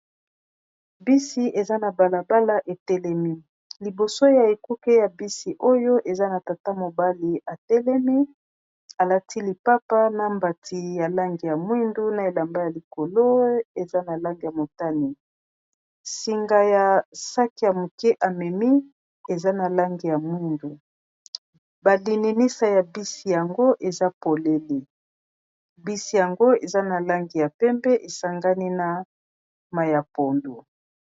bisi eza na balabala etelemi liboso ya ekuke ya bisi oyo eza na tata mobali etelemi alati lipapa na mbati ya langi ya mwindu na elamba ya likolo eza na langi ya motani singa ya saki ya moke amemi eza na langi ya mwindu balininisa ya bisi yango eza polele. bisi yango eza na langi ya pembe esangani na mayapondo